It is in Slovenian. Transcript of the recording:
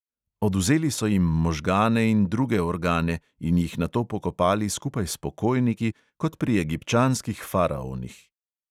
Odvzeli so jim možgane in druge organe in jih nato pokopali skupaj s pokojniki kot pri egipčanskih faraonih.